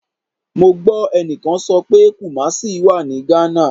Mo gbọ ẹnikan sọ pe Kumasi wa ni Ghana